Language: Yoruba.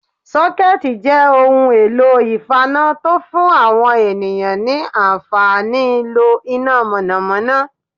Sókétì' jẹ́ ohun èlò ìfaná tó fún àwọn ènìyàn ní ànfàníí lo iná mọ̀nọ̀mọ́nọ́